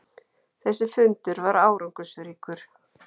Þessi fundur var árangursríkur.